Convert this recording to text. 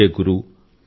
Guru are